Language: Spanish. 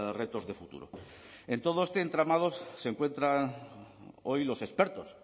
retos de futuro en todo este entramado se encuentran hoy los expertos